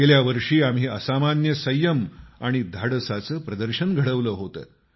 गेल्या वर्षी आम्ही असामान्य संयम आणि धाडसाचं प्रदर्शन घडवलं होतं